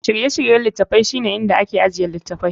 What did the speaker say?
Shirye-shiryen littafi shine inda ake ajiye littattafai.